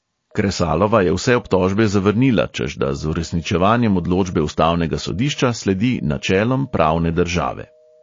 Kresalova je vse obtožbe zavrnila, češ da z uresničevanjem odločbe ustavnega sodišča sledi načelom pravne države.